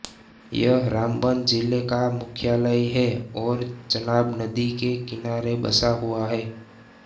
यह रामबन ज़िले का मुख्यालय है और चनाब नदी के किनारे बसा हुआ है